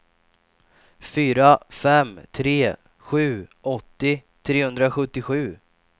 fyra fem tre sju åttio trehundrasjuttiosju